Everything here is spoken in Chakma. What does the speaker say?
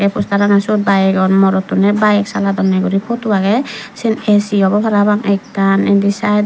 se postarano siyot byk agon morottune byk saladonney guri potu agey syen A_C obo para pang ekkan indi sydot.